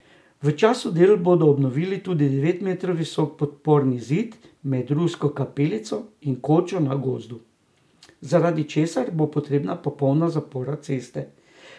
V času del bodo obnovili tudi devet metrov visok podporni zid med Rusko kapelico in Kočo na Gozdu, zaradi česar bo potrebna popolna zapora ceste.